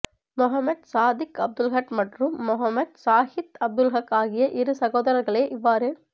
மொஹமட் சாதிக் அப்துல்ஹக் மற்றும் மொஹமட் சாஹித் அப்துல்ஹக் ஆகிய இரு சகோதரர்களே இவ்வாறு